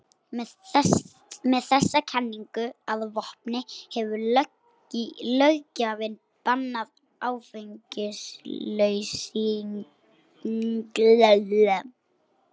Með þessa kenningu að vopni hefur löggjafinn bannað áfengisauglýsingar.